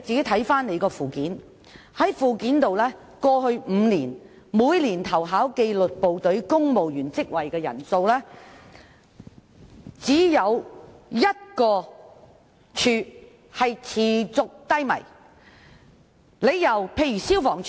從附件可見，過去5年每年投考紀律部隊公務員職位的人數，只有1個部門的投考人數持續偏低，那就是消防處。